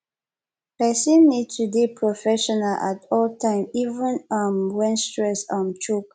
person need to dey professional at all time even um when stress um choke